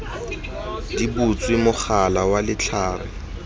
di butswe mogala wa letlhare